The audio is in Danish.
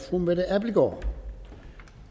fru mette abildgaard